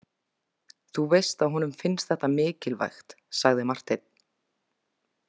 Þú veist að honum finnst þetta mikilvægt, sagði Marteinn.